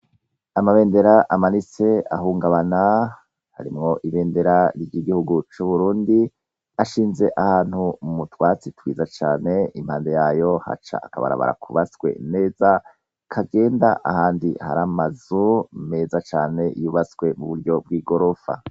Amabendera amarise ahungabana harimwo ibendera rya igihugu c'uburundi ashinze ahantu u mutwatsi twiza cane impande yayo haca akabarabara kubaswe neza kagenda ahandi haramazu meza cane yubaswe mu buryo bw'i gorofa.